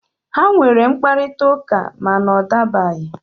Ha nwere mkparịta ụka, ma na ọ dabaghị.